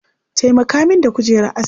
Taimaka min da kujerar askinka